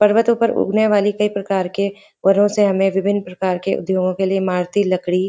पर्वतो पर उगने वाली कई प्रकार के पेड़ों से हमें विभिन प्रकार के उद्योगों के लिए इमारती लड़की --